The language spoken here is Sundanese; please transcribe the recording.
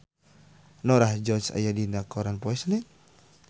Norah Jones aya dina koran poe Senen